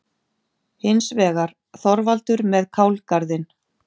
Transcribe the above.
Hins vegar: Þorvaldur með kálgarðinn.